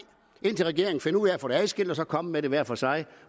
indtil regeringen finder ud af at få tingene adskilt og så komme med dem hver for sig